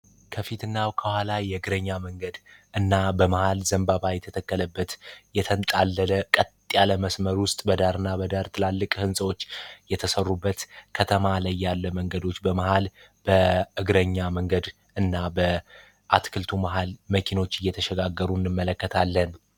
ከፊትናው ከኋላ ይግረኛ መንገድ እና በመሐል ዘንባባ የተተከለበት የተንጣለለ ቀጥ ያለመስመር ውስጥ በዳርና በዳር ትላልቅ ህንጻዎች የተሰሩበት ከተማ ላይ ያለ መንገዶች በመሃል በእግረኛ መንገድ እና በ አትክልቱ መሃል መኪኖች እየተሸጋገሩ እንመለከታለን